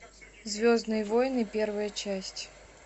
звездные войны первая часть